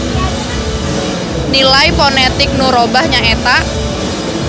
Nilai ponetik nu robah nyaeta.